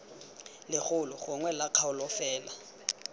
legolo gongwe la kgaolo fela